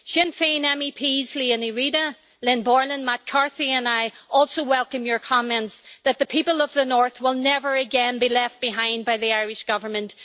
Sinn Féin MEPs Liadh Ní Riada, Lynn Boylan, Matt Carthy and I also welcome your comments that the people of the North will never again be left behind by the Irish government.